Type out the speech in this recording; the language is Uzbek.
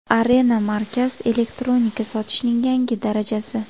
Arena Markaz – elektronika sotishning yangi darajasi.